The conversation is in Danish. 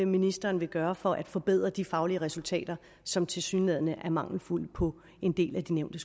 ministeren vil gøre for at forbedre de faglige resultater som tilsyneladende er mangelfulde på en del af de nævnte